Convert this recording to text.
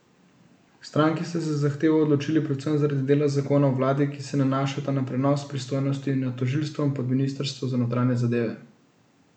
Stranki sta se za zahtevo odločili predvsem zaradi dela zakona o vladi, ki se nanašata na prenos pristojnosti nad tožilstvom pod ministrstvo za notranje zadeve.